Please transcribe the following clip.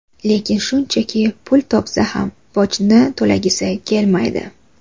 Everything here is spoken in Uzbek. Lekin shuncha pul topsa ham, bojni to‘lagisi kelmaydi.